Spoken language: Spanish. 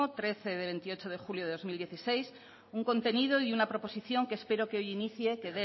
trece de veintiocho de julio de dos mil dieciséis un contenido y una proposición que espero que hoy inicie que